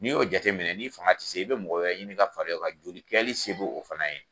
N'i y'o jateminɛ n'i fanga tɛ se i bɛ mɔgɔ wɛrɛ ɲini ka farai kan joli kɛli se b'o o fana ye